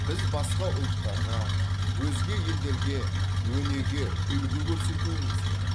біз басқа ұлттарға өзге елдерге өнеге үлгі көрсетуіміз керек